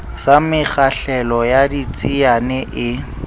sa mekgahlelo ya ditsiane e